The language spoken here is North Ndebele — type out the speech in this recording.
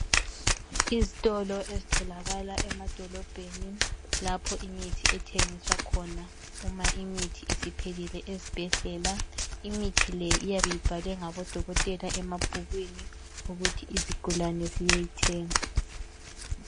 Izitolo ezitholakala emadolobheni lapho imithi ethengiswa khona uma imithi isiphelile ezibhedlela imithi le iyabe ibhaliwe ngamadokotela emabhukwini ukuthi izigulane ziyeyithenga.